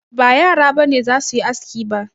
Ba yara ba ne za su yi aski ba